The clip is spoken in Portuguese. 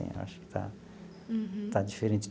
Acho que está está diferente.